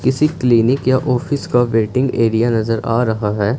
किसी क्लिनिक या ऑफिस का वेटिंग एरिया नजर आ रहा हैं।